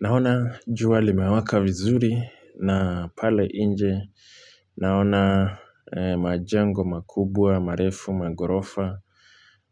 Naona jua limewaka vizuri na pale nje. Naona majango makubwa, marefu, magorofa.